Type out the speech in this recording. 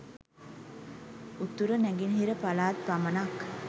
උතුර නැගෙනහිර පළාත් පමණක්